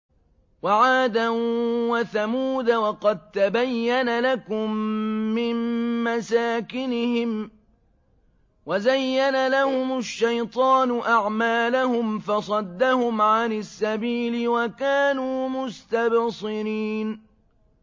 وَعَادًا وَثَمُودَ وَقَد تَّبَيَّنَ لَكُم مِّن مَّسَاكِنِهِمْ ۖ وَزَيَّنَ لَهُمُ الشَّيْطَانُ أَعْمَالَهُمْ فَصَدَّهُمْ عَنِ السَّبِيلِ وَكَانُوا مُسْتَبْصِرِينَ